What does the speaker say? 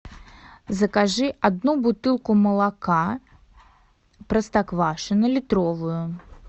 закажи одну бутылку молока простоквашино литровую